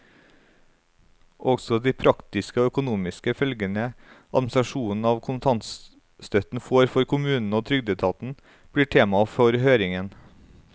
Også de praktiske og økonomiske følgene administrasjonen av kontantstøtten får for kommunene og trygdeetaten, blir tema for høringen.